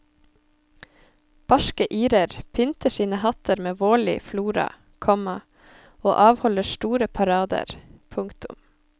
Barske irer pynter sine hatter med vårlig flora, komma og avholder store parader. punktum